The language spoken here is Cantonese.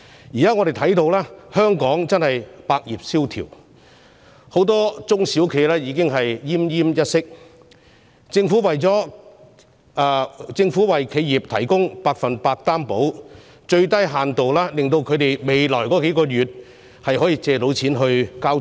現在，我們看到香港百業蕭條，很多中小企已經奄奄一息，政府為企業提供百分百擔保，至少令它們未來數月能借款繳付租金和支薪。